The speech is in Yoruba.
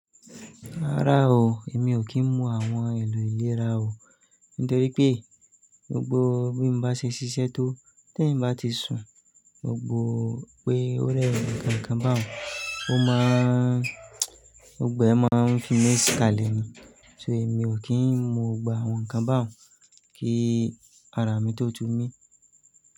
Rárá o, èmi ò kí ń mu àwọn èlò ìlera o nítorí pé gbogbo bí mo bá ṣe ṣiṣẹ́ tó, tí èmi bá ti sun gbogbo pé ó rẹ'yàn nǹkan kan báun, ó máa gbogbo ẹ máa n fi mí kalẹ̀ ni. So èmi ò kí ń mu gbogbo àwọn nǹkan báun ọ̀ kí ara mi tó tú mí.